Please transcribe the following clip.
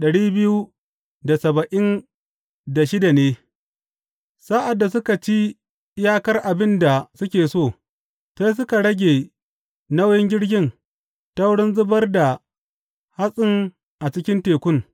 Sa’ad da suka ci iyakar abin da suke so, sai suka rage nauyin jirgin ta wurin zubar da hatsin a cikin tekun.